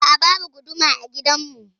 A'a, babu guduma a gidan mu.